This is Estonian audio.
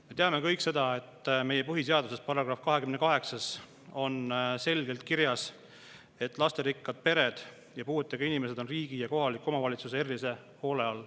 Me teame kõik, et meie põhiseaduse §‑s 28 on selgelt kirjas, et lasterikkad pered ja puuetega inimesed on riigi ja kohaliku omavalitsuse erilise hoole all.